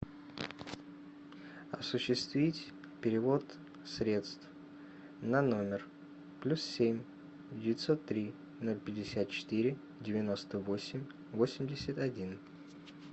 осуществить перевод средств на номер плюс семь девятьсот три ноль пятьдесят четыре девяносто восемь восемьдесят один